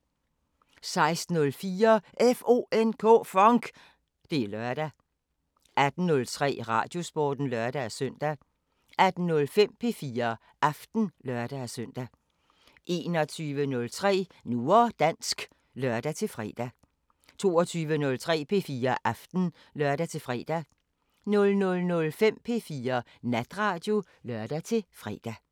16:04: FONK! Det er lørdag 18:03: Radiosporten (lør-søn) 18:05: P4 Aften (lør-søn) 21:03: Nu og dansk (lør-fre) 22:03: P4 Aften (lør-fre) 00:05: P4 Natradio (lør-fre)